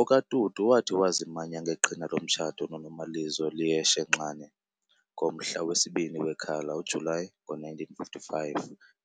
OkaTutu wathi wazimanya ngeqhina lomtshato noNomalizo Leah Shenxane ngomhla wesibini Wekhala, July, ngo-1955.